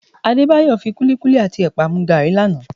Adébáyọ̀ kúlíkúlí àti ẹ̀pà mu gààrí lánàá